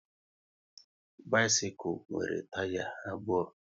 Bisikul nwere taya abụọ